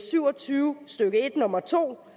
syv og tyve stykke en nummer to